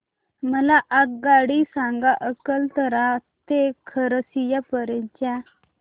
मला आगगाडी सांगा अकलतरा ते खरसिया पर्यंत च्या